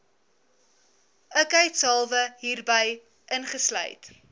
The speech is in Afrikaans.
ikheidshalwe hierby ingesluit